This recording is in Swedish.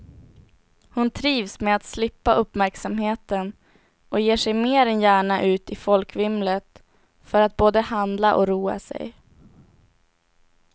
Hon trivs med att slippa uppmärksamheten och ger sig mer än gärna ut i folkvimlet för att både handla och roa sig.